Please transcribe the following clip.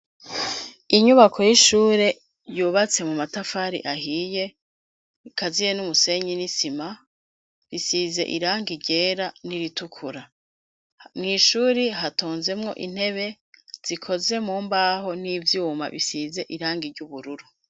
Inyubako y'ishuri yubatse mu matafari ahiye akaziye n'umusenyi n'isima bisize irangi ryera n'iritukura mwishuri hatonzemwo intebe zikoze mu mbaho n'ivyuma bisize irangi ry'ubururu.